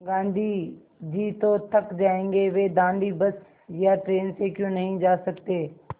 गाँधी जी तो थक जायेंगे वे दाँडी बस या ट्रेन से क्यों नहीं जा सकते